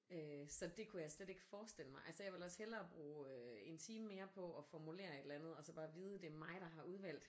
Øh så det kunne jeg slet ikke forestille mig altså jeg vil også hellere bruge en time mere på at formulere et eller andet og så bare vide det er mig der har udvalgt